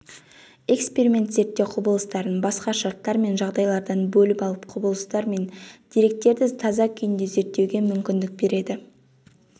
эксперимент зерттеу құбылыстарын басқа шарттар мен жағдайлардан бөліп алып құбылыстар мен деректерді таза күйінде зерттеуге мүмкіндік береді